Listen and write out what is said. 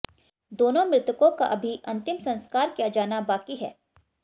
दोनों मृतकों का अभी अंतिम संस्कार किया जाना बाकी है